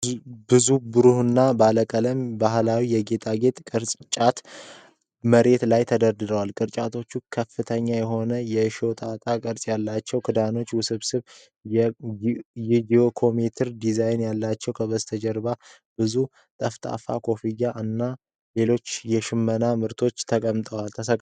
ብዙ ብሩህና ባለቀለም ባህላዊ የጌጣጌጥ ቅርጫቶች መሬት ላይ ተደርድረዋል። ቅርጫቶቹ ከፍተኛ የሆኑ የሾጣጣ ቅርጽ ያላቸው ክዳኖችና ውስብስብ የጂኦሜትሪክ ዲዛይኖች አሏቸው። ከበስተጀርባ ብዙ ጠፍጣፋ ኮፍያዎች እና ሌሎች የሽመና ምርቶች ተሰቅለዋል።